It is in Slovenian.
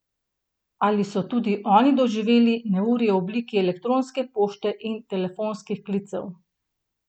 Ali so tudi oni doživeli neurje v obliki elektronske pošte in telefonskih klicev?